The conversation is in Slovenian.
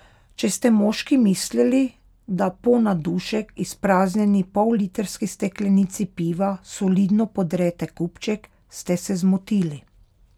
Če ste moški mislili, da po na dušek izpraznjeni pollitrski steklenici piva solidno podrete kupček, ste se zmotili.